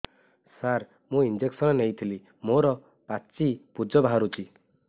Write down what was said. ସାର ମୁଁ ଇଂଜେକସନ ନେଇଥିଲି ମୋରୋ ପାଚି ପୂଜ ବାହାରୁଚି